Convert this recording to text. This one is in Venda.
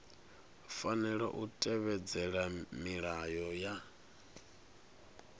fanela u tevhedzela milayo ya